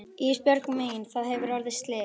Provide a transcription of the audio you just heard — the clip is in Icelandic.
Ísbjörg mín það hefur orðið slys.